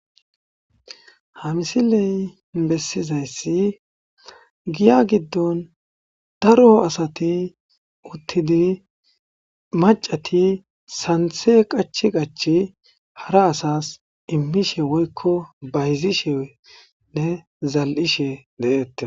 Ha misiley bessizayssi giya giddon daro asati uttidi macati santhe qach qachi hara asas immishe woykko bayzishenne zal'ishe de'eetta.